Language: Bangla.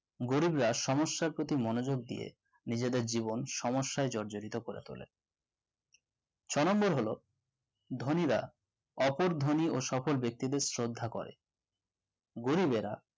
গরিবরা সমস্যার প্রতি মনোযোগ দিয়ে নিজেদের জীবন সমস্যায় জর্জরিত করে তোলে ছয় number হলো ধনীরা অপর ধনী এবং সফল ব্যক্তিদের শ্রদ্ধা করে গরিবরা